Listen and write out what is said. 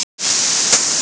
Ekki taka það illa upp.